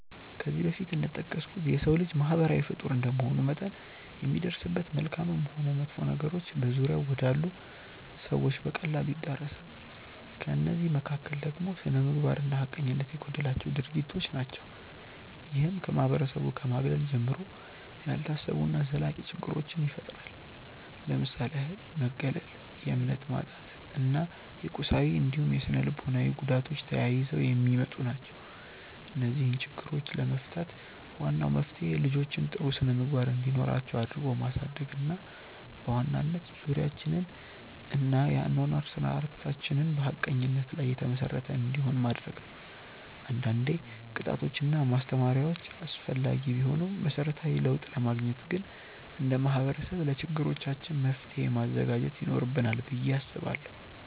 ከዚህ በፊት እንደጠቀስኩት የሰው ልጅ ማህበራዊ ፍጡር እንደመሆኑ መጠን የሚደርስበት መልካምም ሆን መጥፎ ነገሮች በዙሪያው ወዳሉ ሰዎች በቀላሉ ይዳረሳል። ከእነዚህ መካከል ደግሞ ስነምግባር እና ሀቀኝነት የጎደላቸው ድርጊቶች ናቸው። ይህም ከማህበረሰቡ ከማግለል ጀምሮ፣ ያልታሰቡ እና ዘላቂ ችግሮችን ይፈጥራል። ለምሳሌ ያህል መገለል፣ የእምነት ማጣት እና የቁሳዊ እንዲሁም ስነልቦናዊ ጉዳቶች ተያይዘው የሚመጡ ናቸው። እነዚህን ችግሮች ለመፍታት ዋናው መፍትሄ ልጆችን ጥሩ ስነምግባር እንዲኖራቸው አድርጎ ማሳደግ እና በዋናነት ዙሪያችንን እና የአኗኗር ስርዓታችንን በሀቀኝነት ላይ የተመሰረተ እንዲሆን ማድረግ ነው። አንዳንዴ ቅጣቶች እና ማስተማሪያዎች አስፈላጊ ቢሆኑም መሰረታዊ ለውጥ ለማግኘት ግን እንደ ማህበረሰብ ለችግሮቻችን መፍትሔ ማዘጋጀት ይኖርብናል ብዬ አስባለሁ።